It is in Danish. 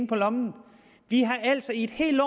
på lommen vi har altså et helt